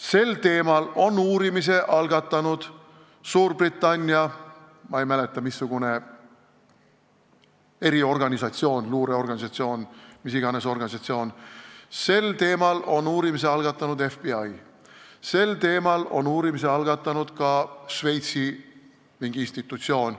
Sel teemal on uurimise algatanud üks Suurbritannia eriorganisatsioon – ma ei mäleta, kas luureorganisatsioon või mingi muu organisatsioon –, sel teemal on uurimise algatanud FBI, sel teemal on uurimise algatanud ka mingi Šveitsi institutsioon.